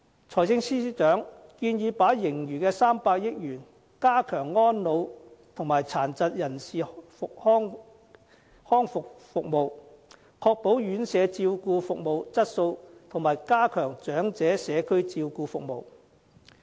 財政司司長建議把盈餘的300億元加強安老和殘疾人士康復服務，確保院舍照顧服務質素和加強長者社區照顧服務。